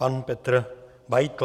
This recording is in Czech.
Pan Petr Beitl.